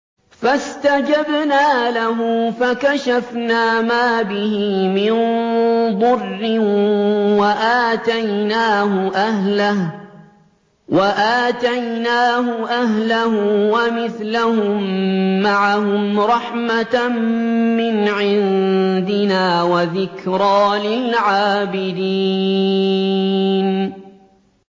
فَاسْتَجَبْنَا لَهُ فَكَشَفْنَا مَا بِهِ مِن ضُرٍّ ۖ وَآتَيْنَاهُ أَهْلَهُ وَمِثْلَهُم مَّعَهُمْ رَحْمَةً مِّنْ عِندِنَا وَذِكْرَىٰ لِلْعَابِدِينَ